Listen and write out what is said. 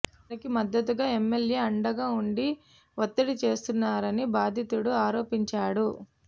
వారికి మద్దతుగా ఎమ్మెల్యే అండగా ఉండి వత్తిడి చేస్తున్నారని బాధితుడు ఆరోపించాడు